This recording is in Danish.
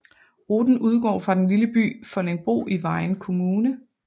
Ruten udgår fra den lille by Foldingbro i Vejen Kommune